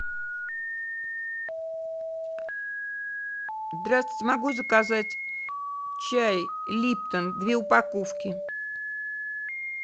здравствуйте могу заказать чай липтон две упаковки